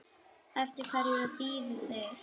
Eftir hverju bíða þeir?